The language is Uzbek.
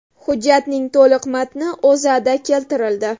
Hujjatning to‘liq matni O‘zAda keltirildi .